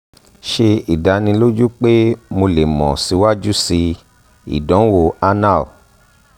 ṣe idaniloju pe mo le mọ siwaju sii idanwo anal